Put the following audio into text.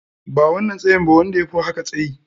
Ba wannan tsayin ba, wanda yafi haka tsayyi.